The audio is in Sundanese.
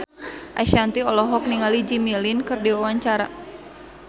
Ashanti olohok ningali Jimmy Lin keur diwawancara